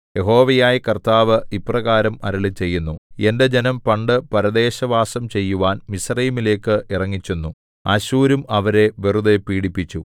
യഹോവയായ കർത്താവ് ഇപ്രകാരം അരുളിച്ചെയ്യുന്നു എന്റെ ജനം പണ്ടു പരദേശവാസം ചെയ്യുവാൻ മിസ്രയീമിലേക്ക് ഇറങ്ങിച്ചെന്നു അശ്ശൂരും അവരെ വെറുതെ പീഡിപ്പിച്ചു